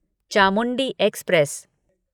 Chamundi express